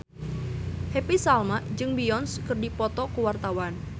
Happy Salma jeung Beyonce keur dipoto ku wartawan